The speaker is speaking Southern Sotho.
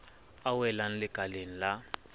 a welang lekaleng le le